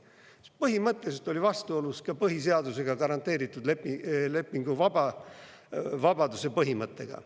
See põhimõtteliselt oli vastuolus ka põhiseadusega garanteeritud lepinguvabaduse põhimõttega.